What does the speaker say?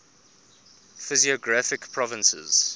physiographic provinces